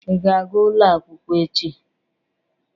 Ị ga-aga ụlọ akwụkwọ echi?